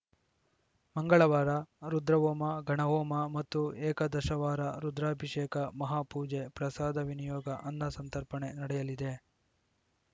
ಮಂಗಳವಾರ ರುದ್ರಹೋಮ ಗಣಹೋಮ ಮತ್ತು ಏಕದಶವಾರ ರುದ್ರಾಭಿಷೇಕ ಮಹಾಪೂಜೆ ಪ್ರಸಾದ ವಿನಿಯೋಗ ಅನ್ನಸಂತರ್ಪಣೆ ನಡೆಯಲಿದೆ